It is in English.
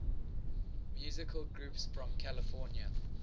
musical groups from california